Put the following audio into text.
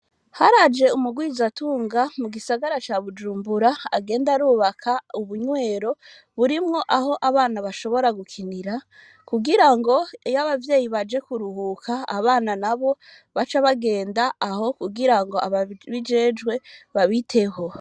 Haraje umugwizatunga mu gisagara ca bujumbura agenda arubaka ubunywero burimwo aho abana bashobora gukinira kugira ngo yo abavyeyi baje kuruhuka abana na bo baca bagenda aho kugira ngo ababijejwe babiteho.